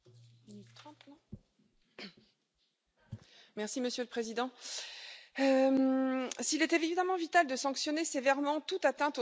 Monsieur le Président, s'il est évidemment vital de sanctionner sévèrement toute atteinte aux droits de l'homme, ce n'est certainement pas à l'Union européenne d'en imposer les sanctions.